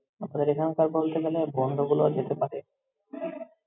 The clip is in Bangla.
আমার এখানকার বলতে গেলে বন্ধুগুলো যেতে পারে